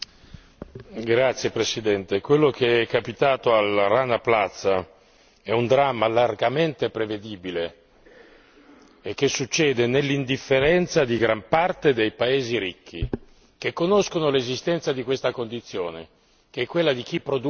Signor Presidente, onorevoli colleghi, quello che è capitato al Rana Plaza è un dramma largamente prevedibile e che succede nell'indifferenza di gran parte dei paesi ricchi, che conoscono l'esistenza di questa condizione che è quella di chi produce